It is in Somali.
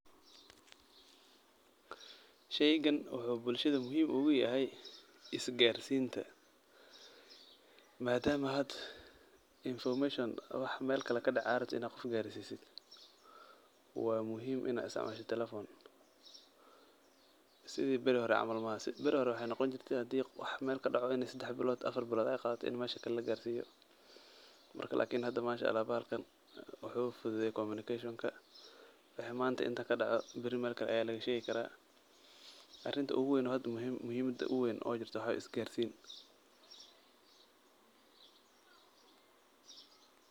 Shaygan wuxuu bulshada muhiim ugu yahay isgaarsiinta. Maadama had information wax meel kala kadhacay aad rabtid in aad gaarsiisid, waa muhiim inaad isticmaashid telephone. Sidii ber hore camal maaha. Beri hore waxay noqon jirtay hadii wax meel ka daco inay sidax bilood afar bilood ay qaadato in meesha kale laga gaarsiiyo, marka lakini hadi Masha'Allah, bahalkan wuxuu fududeeyey kominikashonka. Waxii manta inta ka dhaco beri meel kale ayaa lagu sheegi kara. Arinta ugu weyn, hadi muhiimad ugu weyn oo jirta waxaa weeye isgaarsiinta.